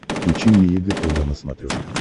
включи мне егэ тв на смотрешке